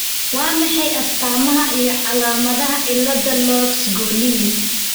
Waa maxay astamaha iyo calaamadaha cilada Lopes Gorlin?